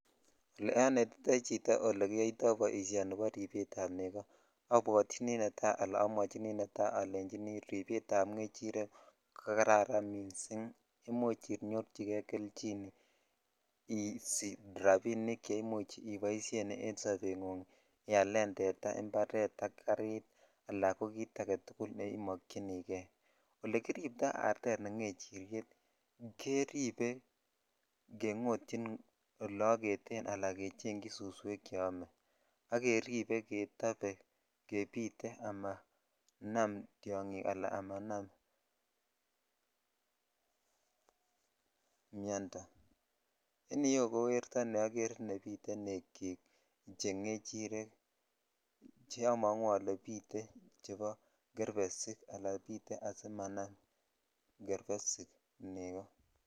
Ole onetitoi chito ole kiyoito ni bo ripet ab negoo abwotyini netai ala amwochini kubet ab neko ko karan missing imuch inyorchi kei kelchin isich rabinik che imuch iboishen en sobengunng ialen tetaa ,imparet ala ko garit ala ko kit agetukul ne imokyinikei olekiribto ne ngechiryet keripe kengotyin ole ogeten ala kechechin suswek che ome ak keripe ketope jebite amana tyongik ala amanm miondo en yuu ko werto ne bite nechik che ngechiryet neomongu ole bite chebo gerbesik ala bite asimanam gerbesik negoo.